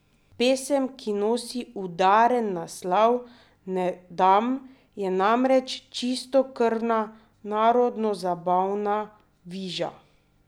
Pesem, ki nosi udaren naslov Ne dam, je namreč čistokrvna narodnozabavna viža!